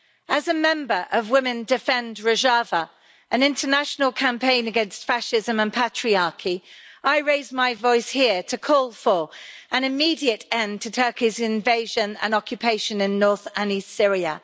As a member of Women Defend Rojava, an international campaign against fascism and patriarchy, I raise my voice here to call for an immediate end to Turkey's invasion and occupation in north and east Syria